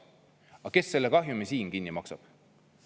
Aga kes selle kahjumi siin kinni maksab?